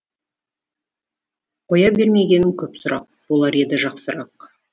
қоя бермегенің көп сұрақ болар еді жақсырақ